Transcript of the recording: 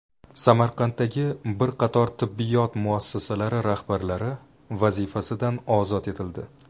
Samarqanddagi bir qator tibbiyot muassasalari rahbarlari vazifasidan ozod etildi.